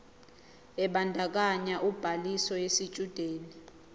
ebandakanya ubhaliso yesitshudeni